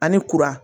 Ani kuran